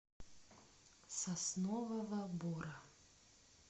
соснового бора